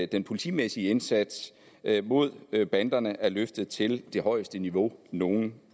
den politimæssige indsats mod banderne er løftet til det højeste niveau nogen